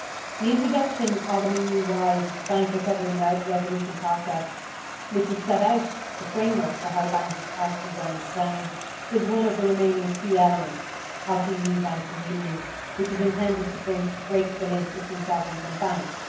The introduction of an EU wide bank recovery and resolution process, which would set out the framework for how banks are to be wound down, is one of the remaining key elements of the EU banking union that is intended to break the link between sovereigns and banks.